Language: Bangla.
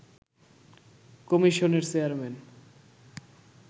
কমিশনের চেয়ারম্যান